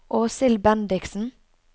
Åshild Bendiksen